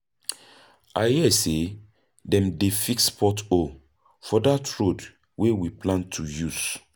I hear sey dem dey fix pothole for dat road wey we plan to use.